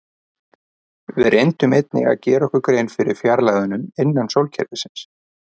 Við reyndum einnig að gera okkur grein fyrir fjarlægðunum innan sólkerfisins.